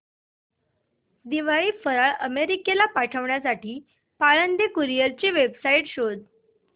दिवाळी फराळ अमेरिकेला पाठविण्यासाठी पाळंदे कुरिअर ची वेबसाइट शोध